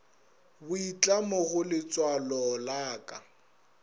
boitlamo go letswalo la ka